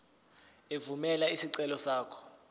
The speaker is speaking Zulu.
evumela isicelo sakho